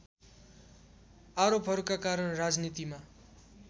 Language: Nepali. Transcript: आरोपहरूका कारण राजनीतिमा